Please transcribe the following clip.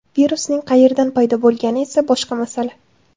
Virusning qayerdan paydo bo‘lgani esa boshqa masala.